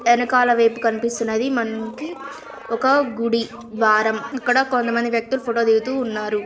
ఏనుకల వైపు కనిపిస్తున్నది. మనకి ఒక గుడి ద్వారం ఇక్కడ కొంతమంది వ్యక్తులు ఫోటో దిగుతూ ఉన్నారు.